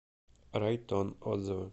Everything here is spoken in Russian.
райтон отзывы